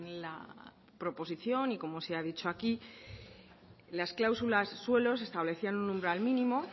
la proposición y como se ha dicho aquí en las cláusulas suelo se establecía un umbral mínimo